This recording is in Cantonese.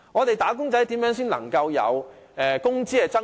"打工仔"如何才能有工資增長？